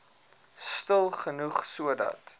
stil genoeg sodat